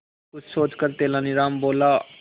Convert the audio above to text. कुछ सोचकर तेनालीराम बोला